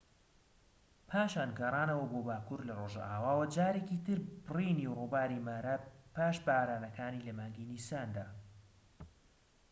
پاشان گەڕانەوە بۆ باكوور لە ڕۆژئاواوە جارێکیتر بڕینی ڕووباری مارا پاش بارانەکان لە مانگی نیساندا